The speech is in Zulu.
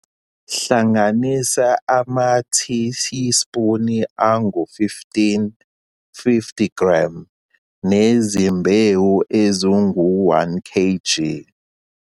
Hlanganisa amatiyisipuni angu-15, 50g, nezimbewu ezingu-1 kg.